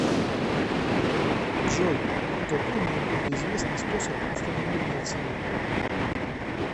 джой какой наиболее известный способ установления цены